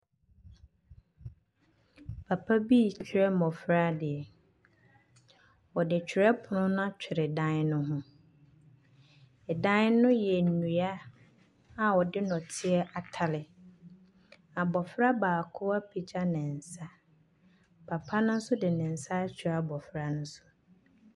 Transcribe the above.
Papa bi rekyerɛ mmɔfra adeɛ. Ↄde twerɛpono no atwere dan no ho. ℇdan no yɛ nnua a ɔde nnɔteɛ atare. Abɔfra baako apagya ne nsa. Papa no nso de ne nsa akyerɛ abɔfra no so.